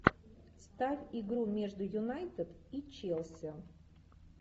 ставь игру между юнайтед и челси